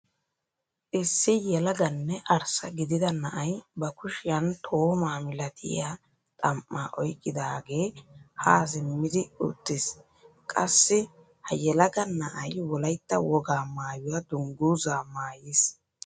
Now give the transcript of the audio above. Issi yelaganne arssa gidida na'ay ba kushiyaan toomaa milatiyaa xam"aa oyqqidagee haa simmidi uttiis. qassi ha yelaga na'ay wolaytta wogaa maayuwaa dunguzzaa maayiis.